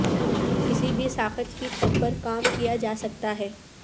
کسی بھی ساخت کی چھت پر کام کیا جا سکتا ہے